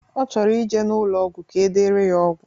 Ọ chọrọ ije n'ụlọ ọgwụ ka edere ya ọgwụ.